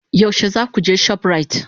Yaushe za ku je shoprite?